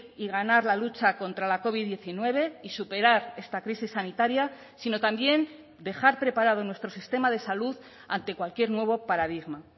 y ganar la lucha contra la covid diecinueve y superar esta crisis sanitaria sino también dejar preparado nuestro sistema de salud ante cualquier nuevo paradigma